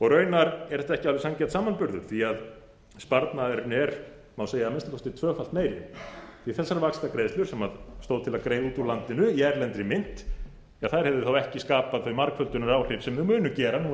raunar er þetta ekki alveg sanngjarn samanburður því sparnaðurinn er að minnsta kosti t tvöfalt meiri þessar vaxtagreiðslur sem að til að greiða út úr landinu í erlendri mynt hefðu þá ekki skapað þau margföldunaráhrif sem þær munu gera